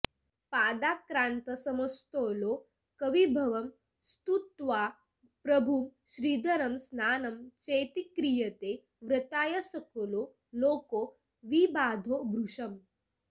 पादाक्रान्तसमस्तलोकविभवं स्तुत्वा प्रभुं श्रीधरं स्नानं चेत्क्रियते व्रताय सकलो लोको विबाधो भृशम्